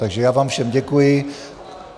Takže já vám všem děkuji.